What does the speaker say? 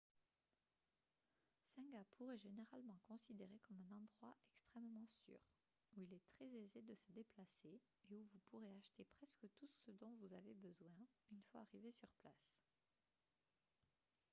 singapour est généralement considéré comme un endroit extrêmement sûr où il est très aisé de se déplacer et où vous pourrez acheter presque tout ce dont vous avez besoin une fois arrivé sur place